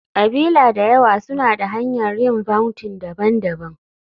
ƙabila da yawa suna da hanyar yin vounting daban-daban.